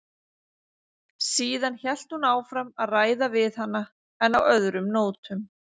Síðan hélt hún áfram að ræða við hana en á öðrum nótum.